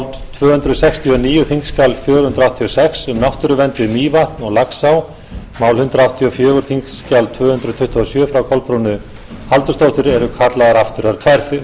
tvö hundruð sextugustu og níunda mál þingskjal fjögur hundruð áttatíu og sex um náttúruvernd við mývatn og laxá hundrað áttugustu og fjórða mál þingskjal tvö hundruð tuttugu og sjö frá kolbrúnu halldórsdóttur eru kallaðar aftur það eru tvær